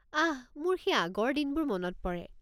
আঃ, মোৰ সেই আগৰ দিনবোৰ মনত পৰে।